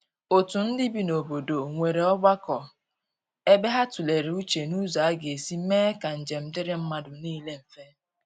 otu ndi bị n'obodo nwere ogbako ebe ha tulere uche n'ụzọ aga esi mee ka njem diri madu nile mfe.